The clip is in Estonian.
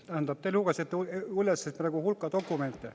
Tähendab, te lugesite praegu üles hulga dokumente.